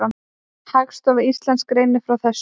Hagstofa Íslands greinir frá þessu.